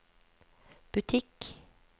butikk